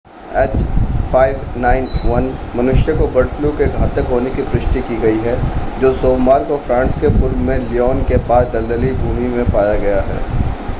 h5n1 मनुष्यों को bird flu के घातक होने की पुष्टि की गई है जो सोमवार को फ्रांस के पूर्व में ल्योन के पास दलदली भूमि में पाया गया है।